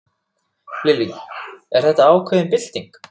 Lillý: Þetta er ákveðin bylting?